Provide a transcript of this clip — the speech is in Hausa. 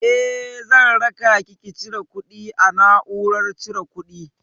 Eh, zan rakaki ki cire kuɗi a na'urar cire kuɗi.